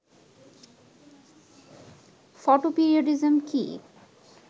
photoperiodism কী